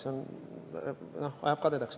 See ajab kadedaks.